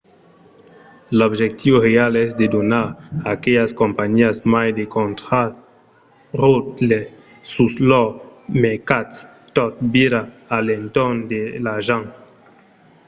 l'objectiu real es de donar a aquelas companhiás mai de contraròtle sus lors mercats; tot vira a l'entorn de l'argent